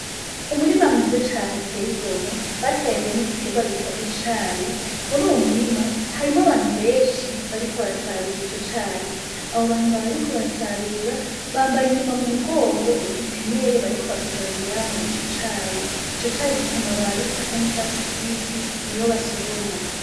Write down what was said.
Umurima mwiza cane uteye igomwe bateragiyemwo igiterwa citwa icayi, muruyo murima harimwo abantu benshi bariko barasarura ico cayi, abo bantu bariko barasarura bambaye inyuma mumugongo udutemere bariko basoromeramwo ico cayi, ico cayi gifise amababi asa n'icatsi kibisi niyo basoroma.